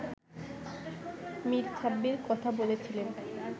মীর সাব্বির কথা বলেছিলেন